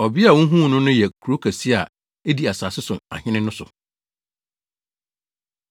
Ɔbea a wuhuu no no yɛ kurow kɛse a edi asase so ahene no so.”